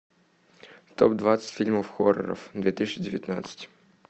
топ двадцать фильмов хорроров две тысячи девятнадцать